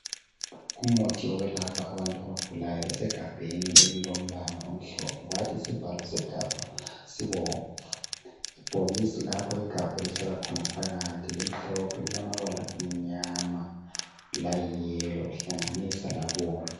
Umuthi wokwelapha abantu abagulayo osegabheni elilombala omhlophe kwathi isivalo segabha sibomvu ibhokisi lapho igabha elihlala khona phakathi limhlophe lilamabala amnyama layiyelo kuhlanganiswa labomvu.